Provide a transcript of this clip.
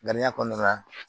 Ŋaniya kɔnɔna na